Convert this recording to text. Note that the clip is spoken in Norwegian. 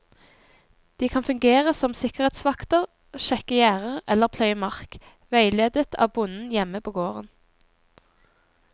De kan fungere som sikkerhetsvakter, sjekke gjerder eller pløye mark, veiledet av bonden hjemme på gården.